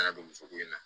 Ladonso ko in na